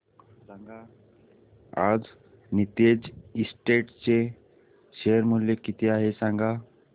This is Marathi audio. आज नीतेश एस्टेट्स चे शेअर मूल्य किती आहे सांगा